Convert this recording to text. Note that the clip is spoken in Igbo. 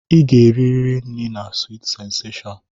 Ị ga-eriri nri na Sweet sensashọn!